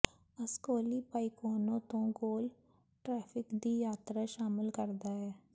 Ascoli Piceno ਤੋਂ ਗੋਲ traffic ਦੀ ਯਾਤਰਾ ਸ਼ਾਮਲ ਕਰਦਾ ਹੈ